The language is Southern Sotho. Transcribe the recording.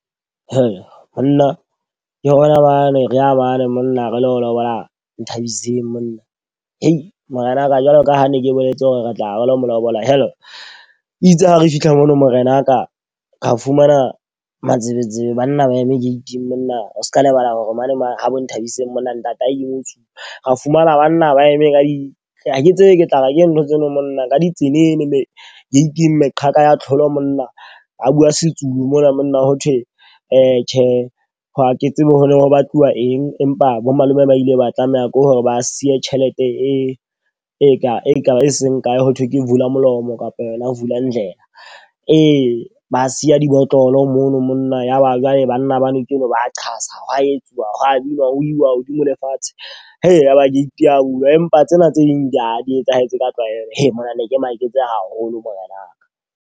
Monna ke rona ba ne re a mane monna re lo lobola Nthabiseng monna. Morenaka, jwalo ka ha ne ke boletse hore re tla re lo molobola. Itse ha re fihla mono morenaka ra fumana matsebetsebe banna ba eme gate-ing monna, o seka lebala hore mane ha bo Nthabiseng monna ntate mo-Zulu. Ra fumana banna ba eme ka di ha ke tsebe ke tla ra ke ntho tseno monna ka ditsenene mme gate-ing meqheka ya tlholo monna. Ba bua se-Zulu mona monna ho thwe ee, tjhe ha ke tsebe ho no ho batluwa eng. Empa bo malome ba ile ba tlameha ke hore ba siye tjhelete e kae, e seng kae, ho thwe ke vulamolomo kapa yona ho vulandlebe. Ee, ba siya dibotlolo mono monna. Ya ba jwale banna ba motse oo ba qatsa hwa etsuwa ho wa binwa ho uwa hodimo le fatshe. Eya ba get ya bulwa. Empa tsena tse ding di a di etsahetse ka tlwaelo. He monna ne ke maketse haholo morenaka.